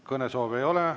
Kõnesoove ei ole.